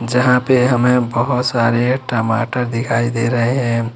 जहां पे हमें बहोत सारे टमाटर दिखाई दे रहे हैं।